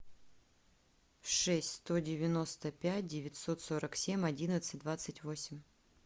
шесть сто девяносто пять девятьсот сорок семь одиннадцать двадцать восемь